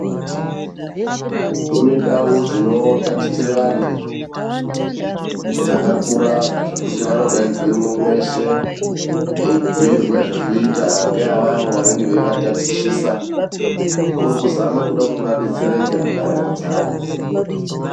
Kune ndau dzinotatichira vantu dzakakura zvekuti vanodaidzwemwo mweshe veibhuirwa zvekuita ngeavavo vange veivatatichisa kuri kuzame kude kuti vadetsereke mundaramo dzavo.